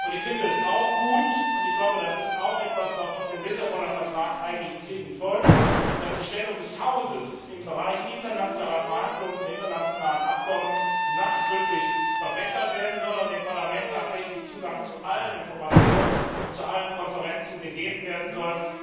Ich finde es auch gut und das ist auch etwas, was aus dem Lissaboner Vertrag eigentlich zwingend folgt dass die Stellung des Hauses im Bereich internationale Verhandlungen zu internationalen Abkommen nachdrücklich verbessert werden und dem Parlament tatsächlich Zugang zu allen Informationen und zu allen Konferenzen gewährt werden soll.